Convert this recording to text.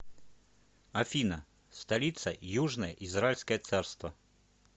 афина столица южное израильское царство